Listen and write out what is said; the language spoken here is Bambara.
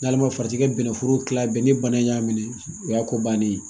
Walima farati ka bɛnnɛforo kilan bɛn ni bana in y'a minɛ o y'a ko bannen ye